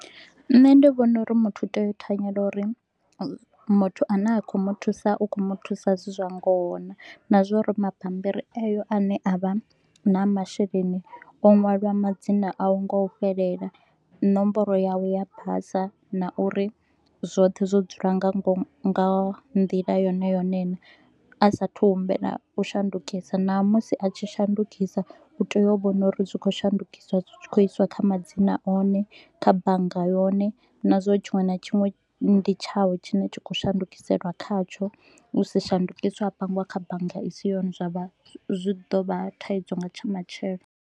Nṋe ndi vhona uri muthu u tea u thanyela uri muthu a ne a khou mu thusa u kho mu thusa zwi zwa ngoho naa. Na zwauri mabammbiri eyo a ne avha na masheleni o ṅwalwa madzina a u nga u fhelela. Nomboro yawe ya basa na uri zwoṱhe zwo dzula nga ngomu nga nḓila yone yone naa. A sa a thu u humbela u shandukisa, ṋamusi a tshi shandukisa u tea u vhona uri zwi kho u shandukiswa zwi tshi kho u iswa kha madzina one kha bannga yone na zwa uri tshiṅwe na tshiṅwe ndi tshawe tshine tshi khou shandukiselwa khatsho. U si shandukiswe ha pangiwa kha bannga i si yone zwa vha zwi ḓo vha thaidzo nga tsha matshelo